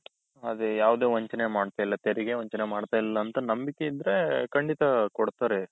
ಅದೆ ಯಾವ್ದೇ ವಂಚನೆ ಮಾಡ್ತಾ ಇಲ್ಲಾ ತೆರಿಗೆ ವಂಚನೆ ಮಾಡ್ತಾ ಇಲ್ಲಾ ಅಂತ ನಂಬಿಕೆ ಇದ್ರೆ ಖಂಡಿತ ಕೊಡ್ತಾರೆ.